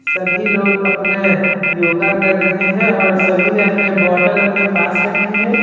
सभी लोग अपना योगा कर रहे हैं और सभी ने अपने बोतल अपने पास रखे हैं।